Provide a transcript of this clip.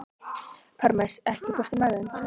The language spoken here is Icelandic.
Parmes, ekki fórstu með þeim?